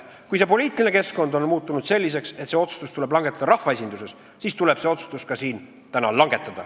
Kui poliitiline keskkond on muutunud selliseks, et see otsustus tuleb langetada rahvaesinduses, siis tuleb see otsustus ka siin täna langetada.